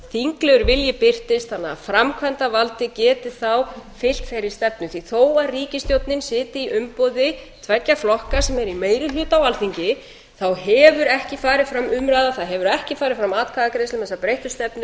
þinglegur vilji birtist þannig að framkvæmdarvaldið geti þá fylgt þeirri stefnu þó að ríkisstjórnin sitji í umboði tveggja flokka sem eru í meiri hluta á alþingi hefur ekki farið fram umræða það hefur ekki farið fram atkvæðagreiðsla um þessa breyttu stefnu